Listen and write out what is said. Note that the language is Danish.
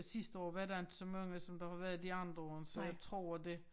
Sidste år var der inte så mange som der har været de andre år så jeg tror det